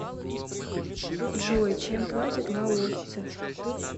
джой чем платят лаосцы